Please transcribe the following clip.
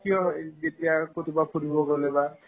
কিয় হয় যেতিয়া আৰু ক'ৰবাত ফুৰিব গ'লে বা